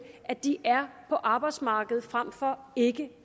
at de er på arbejdsmarkedet frem for ikke